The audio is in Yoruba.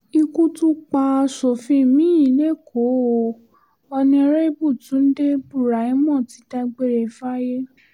ikú tún pa asòfin mi-ín lẹ́kọ̀ọ́ o onírèbù túnde buraimoh ti dágbére fáyé